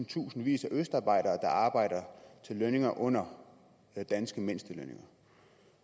tusindvis af østarbejdere der arbejder til lønninger under de danske mindstelønninger